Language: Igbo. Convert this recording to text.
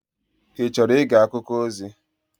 Ị chọrọ ige akụkọ ozi?